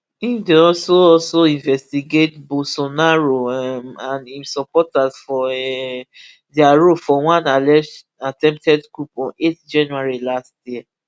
im dey also also investigate bolsonaro um and im supporters for um dia role for one alleged attempted coup on eight january last year